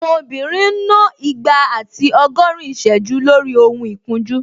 Àwọn obìnrin ń ná igba àti ọgọ́rin ìsẹ́jú lórí ohun ìkunjú